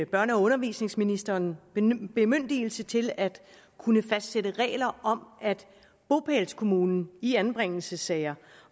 børne og undervisningsministeren bemyndigelse til at kunne fastsætte regler om at bopælskommunen i anbringelsessager